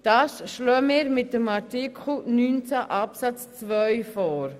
Mit Artikel 19 Absatz 2 schlagen wir das vor.